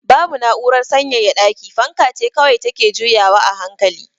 Babu na'urar sanyaya daki, fanka ce kawai take juyawa a hankali.